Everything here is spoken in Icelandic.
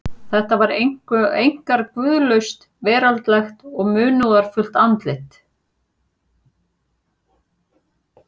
Þetta var einkar guðlaust, veraldlegt og munúðarfullt andlit.